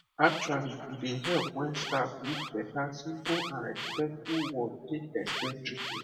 actually e dey help when staff use better simple and respectful word take explain treatment